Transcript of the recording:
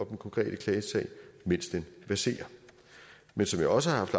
den konkrete klagesag mens den verserer men som jeg også har haft